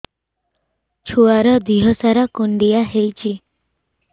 ଛୁଆର୍ ଦିହ ସାରା କୁଣ୍ଡିଆ ହେଇଚି